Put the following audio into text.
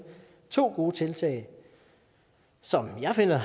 to gode tiltag som jeg finder